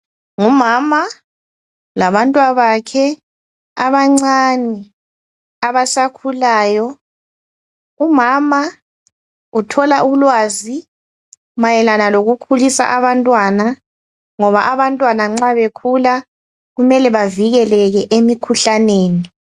Ngumama labantwabakhe abancane abasakhulayo. Umama uthola ulwazi mayelana lokukhulisa abantwana, ngoba abantwana nxa bekhula kumele bavikeleke emikhuhlaneni.